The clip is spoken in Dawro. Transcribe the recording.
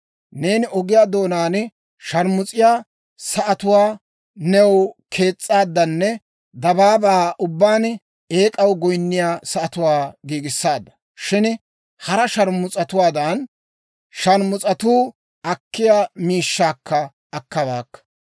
Neeni ogiyaa doonaan sharmus'iyaa sa'atuwaa new kees's'aadanne dabaabaa ubbaan eek'aw goyinniyaa sa'atuwaa giigissaadda. Shin hara sharmus'atuwaadan, sharmus'atuu akkiyaa miishshaakka akkabaakka.